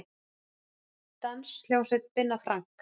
Danshljómsveit Binna Frank